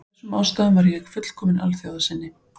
Af þessum ástæðum var ég fullkominn alþjóðasinni.